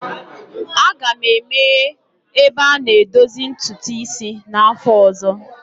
Aga m emeghe ebe a na-edozi ntutu isi n'afọ ọzọ.